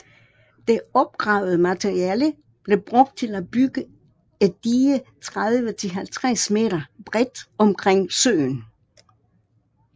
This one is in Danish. Det opgravede materiale blev brugt til at bygge et dige 30 til 50 m bredt omkring søen